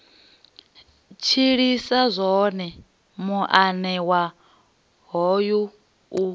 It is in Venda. tshilisa zwone muanewa hoyu u